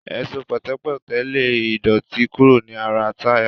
Ẹ̀ṣọ́ pẹ̀tẹ̀pẹ́tẹ̀ ń lé ìdọ̀tí kúrò ní ara táyà